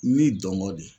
Ni dɔnba de ye